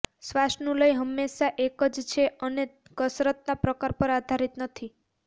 શ્વાસનું લય હંમેશાં એક જ છે અને કસરતના પ્રકાર પર આધારિત નથી